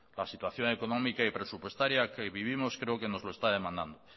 la situación económica y presupuestaria que hoy vivimos creo que no lo está demandando